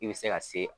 I bɛ se ka se